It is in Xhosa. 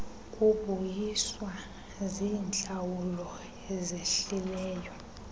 kubuyiswa ziintlawulo ezehlileyo